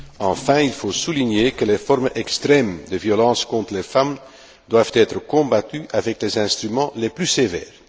Enfin, il faut souligner que les formes extrêmes de violence contre les femmes doivent être combattues avec les instruments les plus sévères.